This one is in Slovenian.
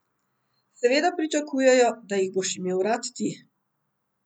Seveda pričakujejo, da jih boš imel rad ti.